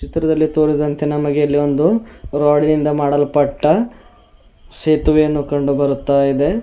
ಚಿತ್ರದಲ್ಲಿ ತೋರಿಸಿದಂತೆ ನಮಗೆ ಇಲ್ಲಿ ಒಂದು ರಾಡಿನಿಂದ ಮಾಡಲ್ಪಟ್ಟ ಸೇತುವೆಯನ್ನು ಕಂಡು ಬರುತ್ತಾ ಇದೆ.